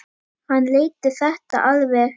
hann leiddi þetta alveg.